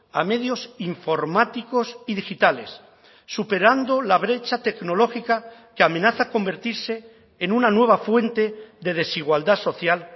a medios informáticos y digitales superando la brecha tecnológica que amenaza convertirse en una nueva fuente de desigualdad social